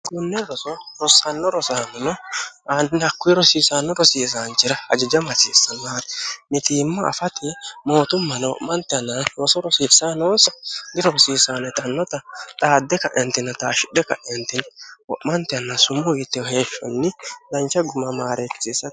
hkunne oorosaanno rosaamino aandini hakkuwi rosiisaanno rosiisaanchira hajaja maciissa maari mitiimma afati mootummano o'mante ana yoso rosiisanoonsa dirosiisaannetannota xaadde ka'entina taashshidhe ka'entini ho'mante anna sumu yitteho heeshshonni dancha gumamaareekkisiissae